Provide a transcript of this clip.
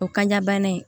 O kaɲa bana in